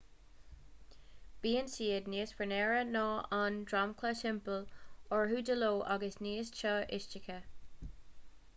bíonn siad níos fionnuaire ná an dromchla timpeall orthu de ló agus níos teo istoíche